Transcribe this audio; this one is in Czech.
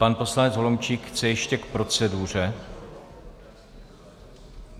Pan poslanec Holomčík chce ještě k proceduře.